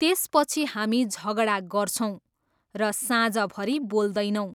त्यसपछि हामी झगडा गर्छौँ र साँझभरी बोल्दैनौँ।